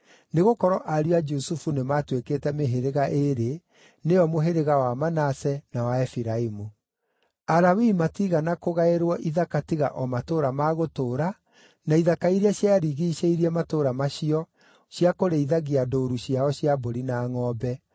nĩgũkorwo ariũ a Jusufu nĩmatuĩkĩte mĩhĩrĩga ĩĩrĩ, nĩyo mũhĩrĩga wa Manase, na wa Efiraimu. Alawii matiigana kũgaĩrwo ithaka tiga o matũũra ma gũtũũra, na ithaka iria ciarigiicĩirie matũũra macio cia kũrĩithagia ndũũru ciao cia mbũri na ngʼombe.